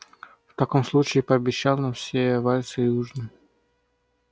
в таком случае пообещай нам все вальсы и ужин